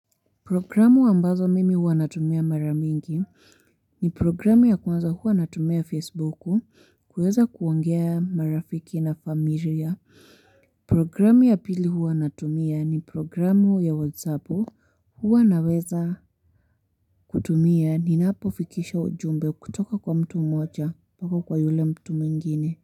Programu ambazo mimi huwa natumia mara mingi ni programu ya kwanza huwa natumia facebook, kuweza kuongea marafiki na familia Programu ya pili huwa natumia ni programu ya whatsapp, huwa naweza kutumia ninapo fikisha ujumbe kutoka kwa mtu moja mpaka kwa yule mtu mwingine.